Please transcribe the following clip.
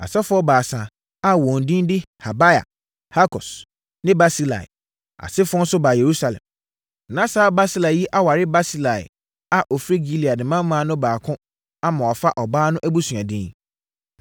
Asɔfoɔ baasa a wɔn din de Habaia, Hakos ne Barsilai asefoɔ nso baa Yerusalem. (Na saa Barsilai yi aware Barsilai a ɔfiri Gilead mmammaa no baako ama wafa ɔbaa no abusua din.)